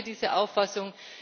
Ich teile diese Auffassung.